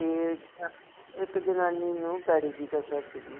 ਤੇ ਇਕ ਜਨਾਨੀ ਨੂੰ ਪੈੜੀ ਦੀ ਕਸਰ ਸੀਗੀ